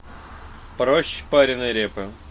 проще пареной репы